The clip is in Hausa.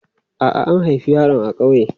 A'a, an haifi yaron a ƙauye.